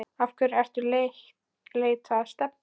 Af hverju ertu að leita að Stebba